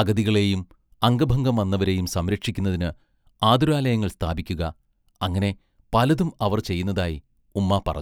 അഗതികളെയും അംഗഭംഗം വന്നവരെയും സംരക്ഷിക്കുന്നതിന് ആതുരാലയങ്ങൾ സ്ഥാപിക്കുക-അങ്ങനെ പലതും അവർ ചെയ്യുന്നതായി ഉമ്മാ പറഞ്ഞു.